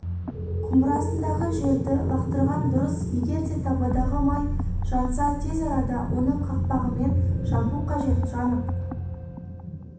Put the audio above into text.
құмырасындағы жерді лақтырған дұрыс егерде табадағы май жанса тез арада оны қақпағымен жабу қажет жанып